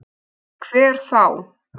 Hver þá?